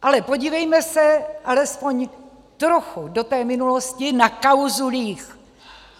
Ale podívejme se alespoň trochu do té minulostí na kauzu líh.